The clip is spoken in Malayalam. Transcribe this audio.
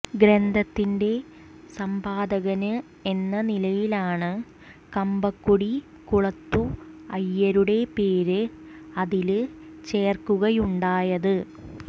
ഗ്രന്ഥത്തിന്റെ സമ്പാദകന് എന്ന നിലയിലാണ് കമ്പക്കുടി കുളത്തു അയ്യരുടെ പേര് അതില് ചേര്ക്കുകയുണ്ടായത്